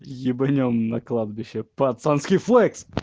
ебанем на кладбище пацанский флекс